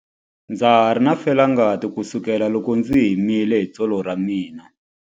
Ndza ha ri na felangati kusukela loko ndzi himile hi tsolo ra mina.